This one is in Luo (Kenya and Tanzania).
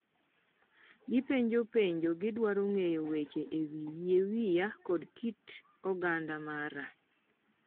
Gipenjo penjo, gidwaro ng’eyo weche e wii yie wiya kod kit kit oganda mara